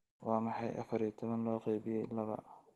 Waa maxay afar iyo toban loo qaybiyay laba